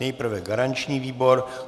Nejprve garanční výbor.